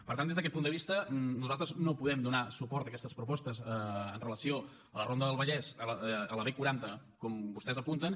per tant des d’aquest punt de vista nosaltres no podem donar suport a aquestes propostes amb relació a la ronda del vallès a la b quaranta com vostès apunten